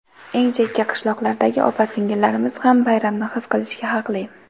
Eng chekka qishloqlardagi opa-singillarimiz ham bayramni his qilishga haqli!.